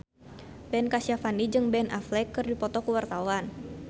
Ben Kasyafani jeung Ben Affleck keur dipoto ku wartawan